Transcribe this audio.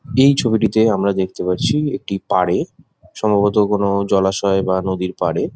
এই ছবিটিতে আমরা দেখতে পাচ্ছি একটি পাড়ে সম্ভবত কোনো জলাশয় বা কোনো নদীর পাড়ে।